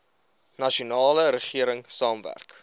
nasionale regering saamwerk